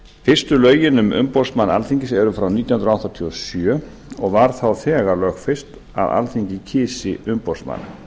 fyrstu lögin um umboðsmann alþingis eru frá nítján hundruð áttatíu og sjö og var þá þegar lögfest að alþingi kysi umboðsmann